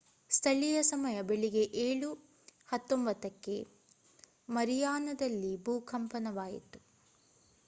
ಸ್ಥಳೀಯ ಸಮಯ ಬೆಳಿಗ್ಗೆ 07:19 ಕ್ಕೆ 09:19 p.m. gmt ಶುಕ್ರವಾರ ಮರಿಯಾನದಲ್ಲಿ ಭೂ ಕಂಪನವಾಯಿತು